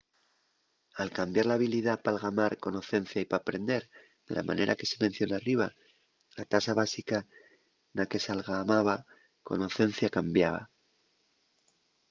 al cambiar l’habilidá p’algamar conocencia y p’aprender de la manera que se menciona arriba la tasa básica na que s’algamaba conocencia cambiaba